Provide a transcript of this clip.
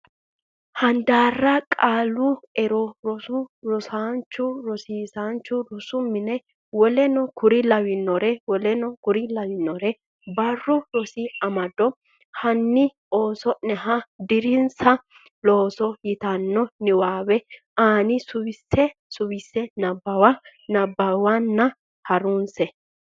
handaarra Qaalu ero Rsn Rosaancho Rosiisaancho Rosu Mine Woleno konne lawannore W k l Barru Rosi Amado hanni oosonniha deerrinsa looso yitanno niwaawe ani suwise Suwise Nabbawa nabbawanna ha runse.